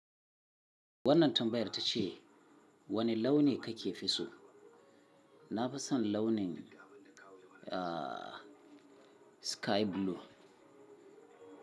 Wannan tambayar ta ce wane launi kake fi so? Na fi son launin, aa, sky blue.